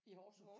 I Horsens?